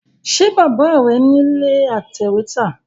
Ṣe Bàbá rẹ̀ nílé atẹ̀wẹ́tà?